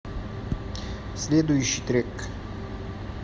следующий трек